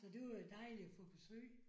Så det var jo dejligt at få besøg